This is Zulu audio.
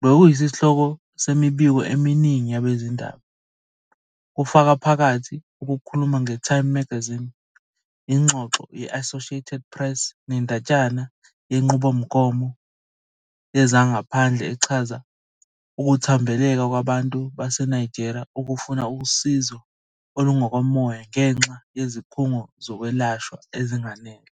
bekuyisihloko semibiko eminingi yabezindaba, kufaka phakathi ukukhuluma ngeTime Magazine, ingxoxo ye-Associated Press nendatshana yeNqubomgomo Yezangaphandle echaza ukuthambekela kwabantu baseNigeria ukufuna usizo olungokomoya ngenxa yezikhungo zokwelashwa ezinganele.